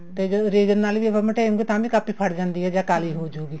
ਤੇ raiser ਨਾਲ ਵੀ ਮਟੇਉਂਗੇ ਤਾਂ ਵੀ ਕਾਪੀ ਫਟ ਜਾਂਦੀ ਹੈ ਕਾਲੀ ਹੋਊਗੀ